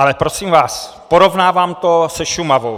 Ale prosím vás, porovnávám to se Šumavou.